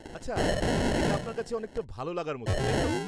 -আচ্ছা, এটা আপনার কাছে অনেকটা ভালো লাগার মতো, তাই তো?